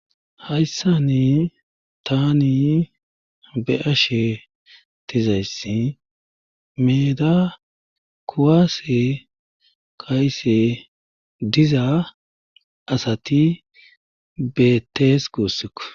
Haysssani taani be7ashe dizayssi meeda kuwwase kaa7ishe diza asati beettees guussuko.